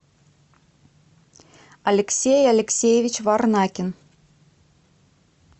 алексей алексеевич варнакин